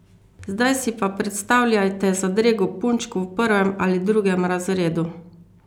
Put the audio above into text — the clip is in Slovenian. Zdaj si pa predstavljajte zadrego punčk v prvem ali drugem razredu!